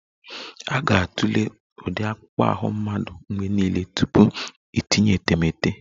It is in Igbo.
A ga-atụle ụdị akpụkpọ ahụ mmadụ mgbe niile tupu itinye etemeete